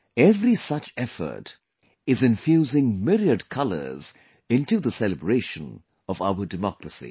Every such effort is infusing myriad colors into the celebration of our democracy